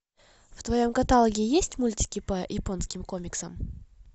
в твоем каталоге есть мультики по японским комиксам